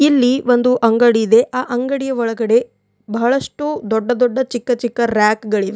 ಇಲ್ಲಿ ಒಂದು ಅಂಗಡಿ ಇದೆ ಆ ಅಂಗಡಿಯ ಒಳಗಡೆ ಬಹಳಷ್ಟು ದೊಡ್ಡ ದೊಡ್ಡ ಚಿಕ್ಕ ಚಿಕ್ಕ ರೆಯಾಕ್ ಗಳಿವೆ.